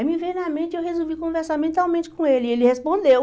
Aí me veio na mente, eu resolvi conversar mentalmente com ele, e ele respondeu.